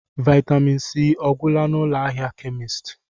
Vaịtamịn C agwụla n'ụlọ ahịa kemisti?